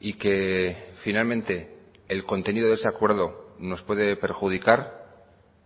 y que finalmente el contenido de ese acuerdo nos puede perjudicar